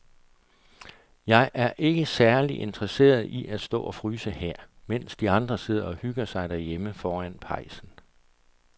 Jeg er ikke særlig interesseret i at stå og fryse her, mens de andre sidder og hygger sig derhjemme foran pejsen.